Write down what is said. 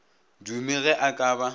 dume ge a ka ba